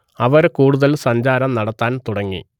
അവർ കൂടുതൽ സഞ്ചാരം നടത്താൻ തുടങ്ങി